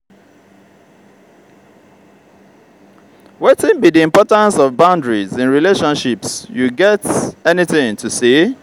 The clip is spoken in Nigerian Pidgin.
wetin be di importance of boundaries in relationships you get anything to say?